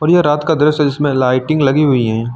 और ये रात का दृश्य है जिसमें लाइटिंग लगी हुई हैं।